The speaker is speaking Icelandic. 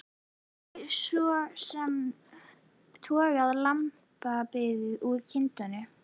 Hún hafði svo sem togað lambið úr kindinni.